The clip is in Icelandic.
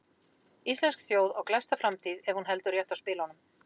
Íslensk þjóð á glæsta framtíð ef hún heldur rétt á spilunum.